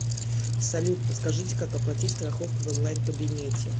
салют подскажите как оплатить страховку в онлайн кабинете